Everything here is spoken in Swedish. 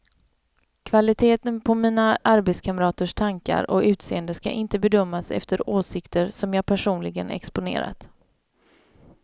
Kvaliteten på mina arbetskamraters tankar och utseende ska inte bedömas efter åsikter som jag personligen exponerat.